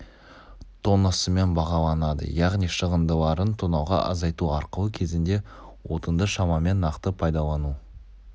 тоннасымен бағаланады яғни шығындыларын тоннаға азайту арқылы кезінде отынды шамамен нақты пайдалану